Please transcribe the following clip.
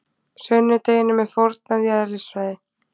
Sunnudeginum er fórnað í eðlisfræði.